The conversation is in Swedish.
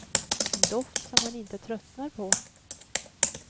En doft som man inte tröttnar på.